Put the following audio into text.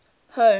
home